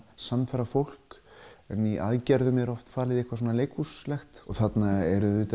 sannfæra fólk en í aðgerðum er falið eitthvað þarna eru